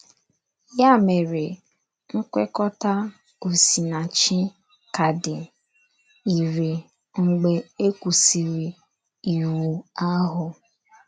Yà mèrè, nkwèkò̄tà Osìnàchí kà dì írẹ̀ mgbe e kwùsìrì Ìwù ahụ.